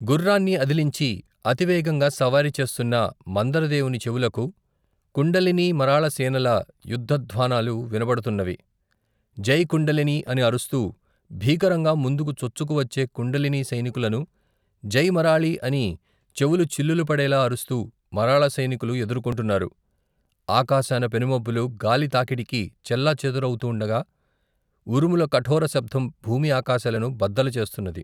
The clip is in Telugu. గుర్రాన్ని అదిలించి, అతివేగంగా సవారి చేస్తున్న, మందరదేవుని చెవులకు, కుండలినీ మరాళసేనల, యుద్ధధ్వానాలు వినబడుతున్నవి, జై కుండలినీ అని అరుస్తూ, భీకరంగా, ముందుకు చొచ్చుకు వచ్చే కుండలినీ సైనికులను, జై మరాళీ అని, చెవులు చిల్లులు పడేలా అరుస్తూ, మరాళ సైనికులు ఎదుర్కొంటున్నారు, ఆకాశాన పెనుమబ్బులు, గాలి తాకిడికు, చెల్లా చెదరవుతూండగా, ఉరుముల కఠోర శబ్దం, భూమి ఆకాశాలను బద్దలు చేస్తున్నది.